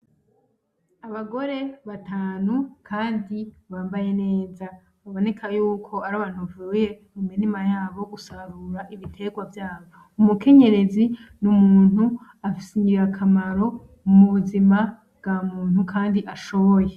Abagore batanu kandi bambaye neza biboneka yuko arabantu bavuye mumirima yabo gusarura ibiterwa vyabo, umukenyezi n'umuntu afitiye akamaro mu buzima bwa muntu kandi ashoboye.